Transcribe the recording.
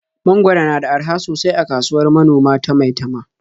Mangwaro na da araha sosai a kasuwar manoma ta Maitama.